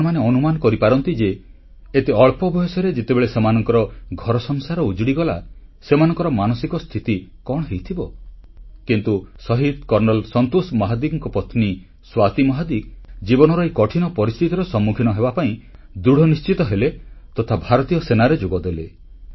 ଆପଣମାନେ ଅନୁମାନ କରିପାରନ୍ତି ଯେ ଏତେ ଅଳ୍ପ ବୟସରେ ଯେତେବେଳେ ସେମାନଙ୍କର ଘରସଂସାର ଉଜୁଡ଼ିଗଲା ସେମାନଙ୍କର ମାନସିକ ସ୍ଥିତି କଣ ହୋଇଥିବ କିନ୍ତୁ ଶହୀଦ କର୍ଣ୍ଣଲ୍ ସନ୍ତୋଷ ମହାଦିକଙ୍କ ପତ୍ନୀ ସ୍ୱାତି ମହାଦିକ ଜୀବନର ଏହି କଠିନ ପରିସ୍ଥିତିର ସମ୍ମୁଖୀନ ହେବାପାଇଁ ଦୃଢ଼ ନିଶ୍ଚିତ ହେଲେ ତଥା ଭାରତୀୟ ସେନାରେ ଯୋଗଦେଲେ